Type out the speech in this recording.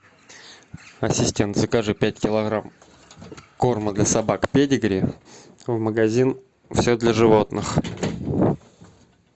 ассистент закажи пять килограмм корма для собак педигри в магазин все для животных